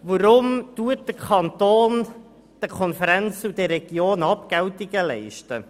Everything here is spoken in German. Weshalb leistet der Kanton den Regionalkonferenzen und den Planungsregionen Abgeltungen?